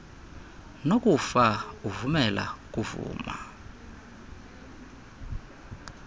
nokufa uvumela ukuvuma